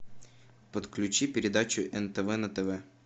подключи передачу нтв на тв